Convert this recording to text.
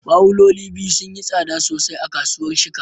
Bawuloli biyu sun yi tsada sosai a kasuwar Shika